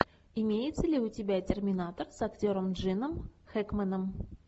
имеется ли у тебя терминатор с актером джином хэкменом